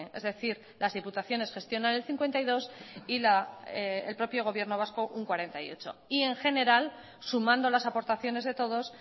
es decir las diputaciones gestionan el cincuenta y dos y el propio gobierno vasco un cuarenta y ocho y en general sumando las aportaciones de todos